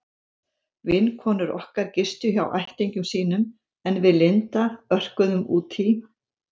Vinkonur okkar gistu hjá ættingjum sínum en við Linda örkuðum út í